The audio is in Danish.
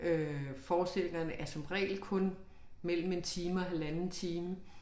Øh forestillingerne er som regel kun mellem 1 time og halvanden time